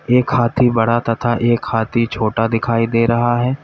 एक हाथी बड़ा तथा एक हाथी छोटा दिखाई दे रहा है।